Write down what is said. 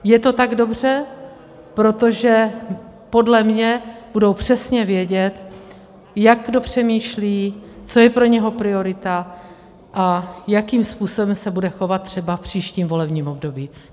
Je to tak dobře, protože podle mě budou přesně vědět, jak kdo přemýšlí, co je pro něj priorita a jakým způsobem se bude chovat třeba v příštím volebním období.